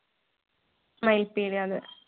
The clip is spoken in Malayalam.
മയിൽ പീലി അതെ